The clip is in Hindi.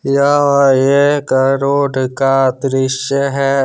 यह एक रोड का दृश्य है।